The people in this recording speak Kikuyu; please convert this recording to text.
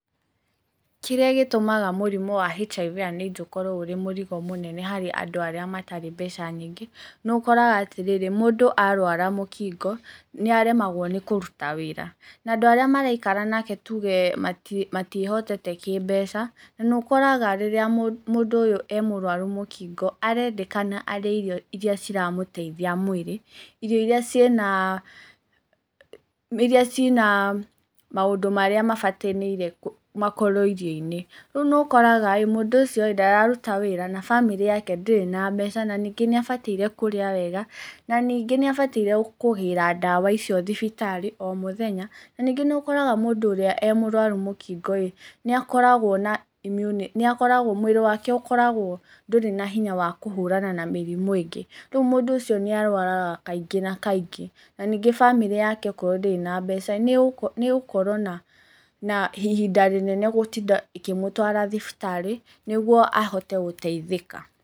Kĩrĩa gĩtũmaga mũrimũ wa HIV and AIDS ũrĩ mũrigo mũnene harĩ andũ matarĩ mbeca nyingĩ, nĩ ũkoraga atĩrĩrĩ, mũndũ arwara mũkingo, nĩ aremagwo nĩ kũruta wĩra, na andũ arĩa maraikara nake tuge matiĩhotete kĩmbeca, na nĩ ũkoraga rĩrĩa mũndũ ũyũ e mũrwaru mũkingo, arendekana arĩe irio iria ciramũtheithia mwĩrĩ, irio iria ciĩ na maũndu marĩa mabatanaire makorwo irio-inĩ, rĩu nĩ ukoraga mũndũ ũcio ndararuta wĩra, na bamĩrĩ yao ndĩrĩ na mbeca na nĩngĩ nĩ abatiĩ gĩa kũrĩa wega, na ningĩ nĩ abatiĩ gwa kũgĩra ndawa icio thibitarĩ o mũthenya, na ningĩ nĩ ũkoraga mũndũ ũrĩa e mũrũaru mũkingo nĩ akoragwo, mwĩrĩ wake nĩ ũkoragwo ndũrĩ na hinya wa kũhũrana na mĩrimũ ĩngĩ, rĩu mũndũ ũcio nĩ arũaraga kaingĩ na kainígĩ, na ningĩ bamĩrĩ yake okorwo ndĩrĩ na mbeca nĩ ĩgũkorwo na ihinda rĩnene gũtinda ikĩmũtwara thibitarĩ nĩ guo ahote gũteithĩka.